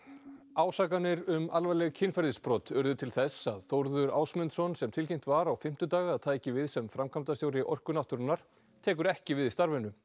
ásakanir um alvarleg kynferðisbrot urðu til þess að Þórður Ásmundsson sem tilkynnt var á fimmtudag að tæki við sem framkvæmdastjóri Orku náttúrunnar tekur ekki við starfinu